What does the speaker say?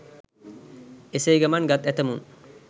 එසේ ගමන් ගත් ඇතැමුන්